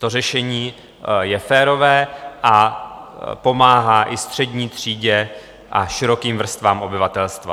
To řešení je férové a pomáhá i střední třídě a širokým vrstvám obyvatelstva.